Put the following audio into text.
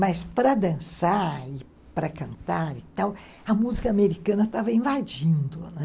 Mas para dançar e para cantar e tal, a música americana estava invadindo, né?